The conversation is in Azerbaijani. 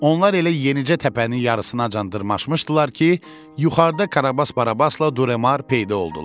Onlar elə yenicə təpənin yarısınaçan dırmaşmışdılar ki, yuxarıda Karabas Barabasla Duremar peyda oldular.